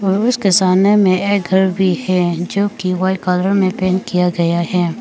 उसके सामने में एक घर भी है जो कि व्हाइट कलर में पेंट किया गया है।